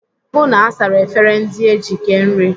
Hụụ na asara efere ndị eji kee nri!